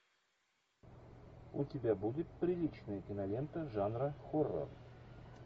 у тебя будет приличная кинолента жанра хоррор